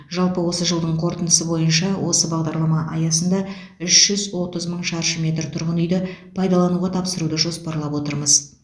жалпы осы жылдың қорытындысы бойынша осы бағдарлама аясында үш жүз отыз мың шаршы метр тұрғын үйді пайдалануға тапсыруды жоспарлап отырмыз